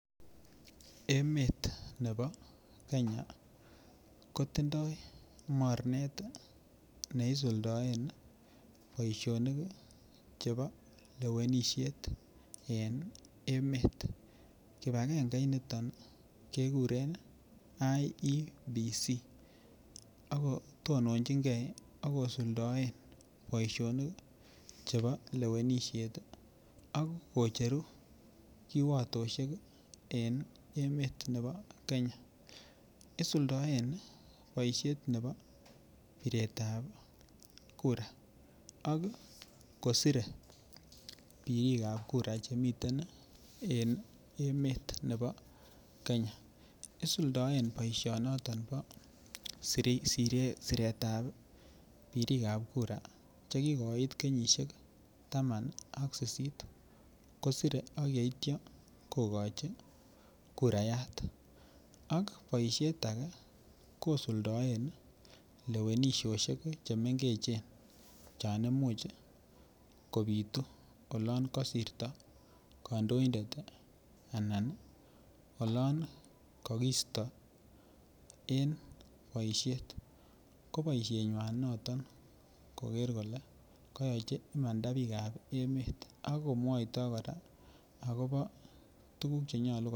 Emet nebo Kenya kotindoi mornet ne isuldoen boisionik chebo lewenisiet en emet kibagenge initon keguren IEBC ako tononjin ge ak kosuldaen boisionik chebo lewenisiet ak kocheru kiwotosiek en emet ab Kenya isuldoen boisiet nebo biretap kura ak kosire birikap kura chemiten en emet nebo Kenya isuldoen boisinoton bo siretab birikap kura Che kigoit kenyisiek taman ak sisit kosire ak yeityo kogochi kurayat ak boisiet age kosuldaen lewenisiosiek chon mengechen chon Imuch kobitu oloon kosirto kandoindet anan olon kagisto en boisiet ko boisienywan noton koger kole koyochi imanda bikap emet ak komwoito kora agobo Che nyolu koyai birikap kura